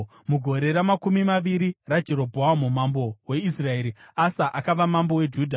Mugore ramakumi maviri raJerobhoamu mambo weIsraeri, Asa akava mambo weJudha,